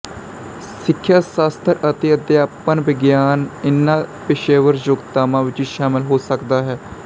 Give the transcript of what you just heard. ਸਿੱਖਿਆ ਸ਼ਾਸਤਰ ਅਤੇ ਅਧਿਆਪਨ ਵਿਗਿਆਨ ਇਹਨਾਂ ਪੇਸ਼ੇਵਰ ਯੋਗਤਾਵਾਂ ਵਿੱਚ ਸ਼ਾਮਿਲ ਹੋ ਸਕਦਾ ਹੈ